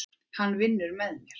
Hann vinnur með mér.